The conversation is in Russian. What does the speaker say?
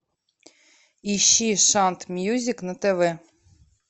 ищи шант мьюзик на тв